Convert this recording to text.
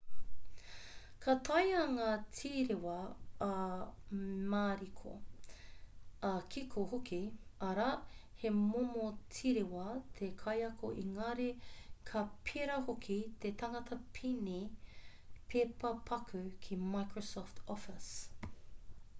ka taea ngā tīrewa ā-mariko ā-kiko hoki arā he momo tīrewa te kaiako engari ka pērā hoki te tangata pine pepa paku ki microsoft office